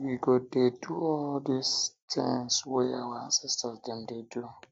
um we go dey do all di tins wey our ancestor dem dey um do